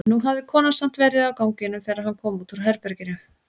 En nú hafði konan samt verið á ganginum þegar hann kom út úr herberginu.